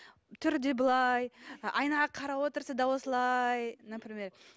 түрі де былай ы айнаға қарап отырса да осылай например